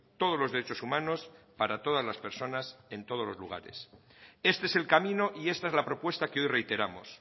todos los derechos humanos para todas las personas en todos los lugares este es el camino y esta es la propuesta que hoy reiteramos